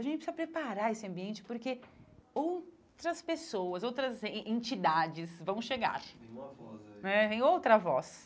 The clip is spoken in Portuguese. A gente precisa preparar esse ambiente porque outras pessoas, outras en entidades vão chegar em uma voz aí em outra voz.